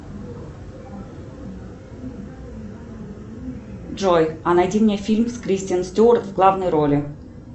джой а найди мне фильм с кристен стюарт в главной роли